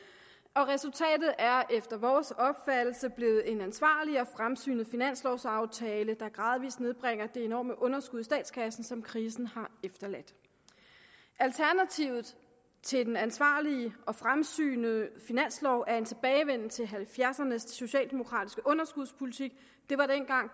og resultatet er efter vores opfattelse blevet en ansvarlig og fremsynet finanslovaftale der gradvis nedbringer det enorme underskud i statskassen som krisen har efterladt alternativet til den ansvarlige og fremsynede finanslov er en tilbagevenden til nitten halvfjerdserne s socialdemokratiske underskudspolitik det var dengang